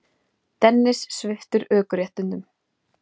Það var hráslagalegt og kalt